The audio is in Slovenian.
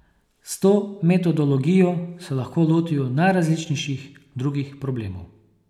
S to metodologijo se lahko lotijo najrazličnejših drugih problemov.